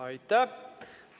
Aitäh!